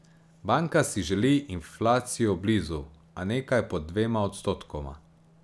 Banka si želi inflacijo blizu, a nekaj pod dvema odstotkoma.